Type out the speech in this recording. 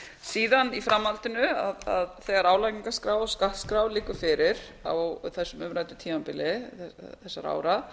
síðan í framhaldinu þegar álagningarskrá og skattskrá liggur fyrir á þessu umrædda tímabili þessara ára